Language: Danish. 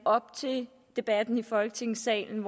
op til debatten i folketingssalen